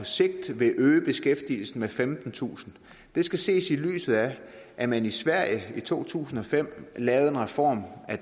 sigt vil øge beskæftigelsen med femtentusind det skal ses i lyset af at man i sverige i to tusind og fem lavede en reform af